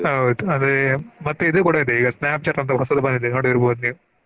ಹೌದು ಅದೇ ಮತ್ತೆ ಇದು ಕೂಡಾ ಇದೆ Snapchat ಅಂತ ಹೊಸದು ಬಂದಿದೆ ನೊಡಿರ್ಬಹುದು ನೀವ್.